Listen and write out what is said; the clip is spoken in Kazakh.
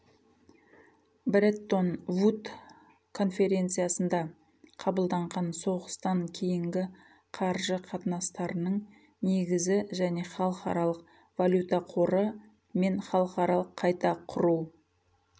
бреттон вуд конференциясында қабылданған соғыстан кейінгі қаржы қатынастарының негізі және халықаралық валюта қоры мен халықаралық қайта құру